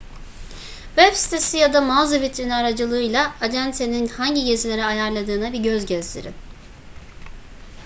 web sitesi ya da mağaza vitrini aracılığıyla acentenin hangi gezileri ayarladığına bir göz gezdirin